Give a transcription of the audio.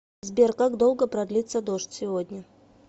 сбер как долго продлится дождь сегодня